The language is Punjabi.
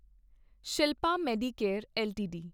Shilpa Medicare LTD